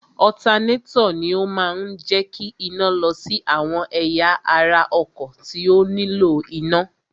Ọ̀tanátọ̀ ni ó máa ń jẹ́ kí iná lọ sí àwọn ẹ̀yà ara ọkọ̀ tí ó nílò iná.